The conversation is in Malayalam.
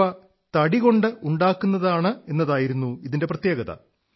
ഇവ തടികൊണ്ടുണ്ടാക്കുന്നതാണെന്നതായിരുന്നു ഇതിന്റെ പ്രത്യേകത